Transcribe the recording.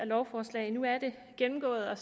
lovforslag nu er det gennemgået og